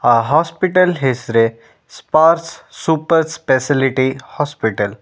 ಆ ಹಾಸ್ಪಿಟಲ್ ಹೆಸ್ರೇ Sparsh super speciality hospital .